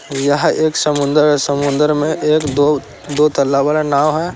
एक समुन्दर है समुन्दर में एक-दो तालाब दो नाव है।